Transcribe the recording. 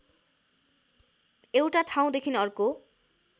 एउटा ठाउँदेखि अर्को